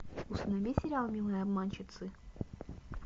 установи сериал милые обманщицы